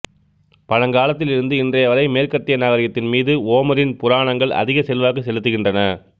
பழங்காலத்தில் இருந்து இன்றைய வரை மேற்கத்திய நாகரிகத்தின் மீது ஓமரின் புராணங்கள் அதிக செல்வாக்கு செலுத்துகின்றன